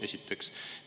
Esiteks.